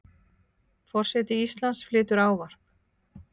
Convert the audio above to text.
Forseti Íslands flytur ávarp.